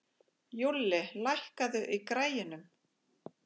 Júlli, lækkaðu í græjunum.